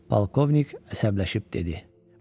Polkovnik əsəbləşib dedi: